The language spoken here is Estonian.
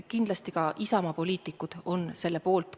Kindlasti on ka Isamaa poliitikud selle poolt.